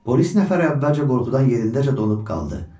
Polis nəfəri əvvəlcə qorxudan yerindəcə donub qaldı.